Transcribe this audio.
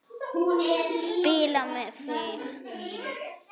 Spila með þig?